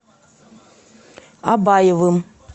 абаевым